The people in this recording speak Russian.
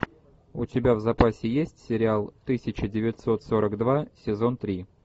у тебя в запасе есть сериал тысяча девятьсот сорок два сезон три